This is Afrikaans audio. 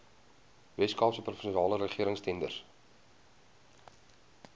weskaapse provinsiale regeringstenders